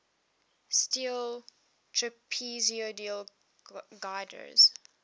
steel trapezoidal girders